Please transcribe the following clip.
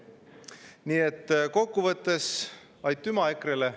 Nii et kokkuvõttes aitüma EKRE‑le.